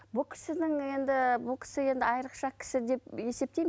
бұл кісінің енді бұл кісі енді айрықша кісі деп есептеймін